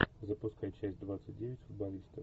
запускай часть двадцать девять футболисты